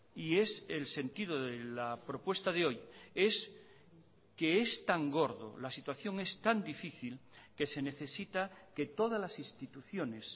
y es el sentido de la propuesta de hoy es que es tan gordo la situación es tan difícil que se necesita que todas las instituciones